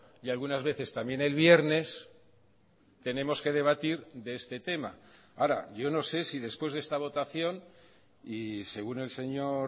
y algunas veces también el viernes tenemos que debatir de este tema ahora yo no sé si después de esta votación y según el señor